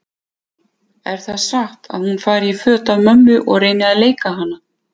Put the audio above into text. Er það satt að hún fari í föt af mömmu og reyni að leika hana?